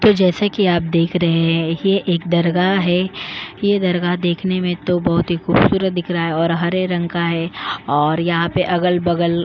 तो जैसा कि आप देख रहे हैं ये एक दरगाह है ये दरगाह देखने में तो बहुत ही खूबसूरत दिख रहा है और हरे रंग का है और यहां पे अगल-बगल --